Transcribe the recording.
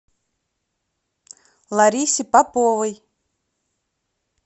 ларисе поповой